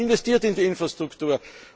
gibt? Wer investiert in die Infrastruktur?